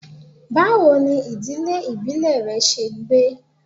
Bawo ni idile ibile rẹ ṣe gbe?